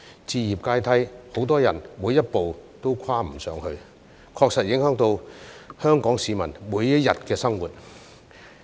置業階梯，很多人每一步都跨不上去，確實影響香港市民每一天的生活。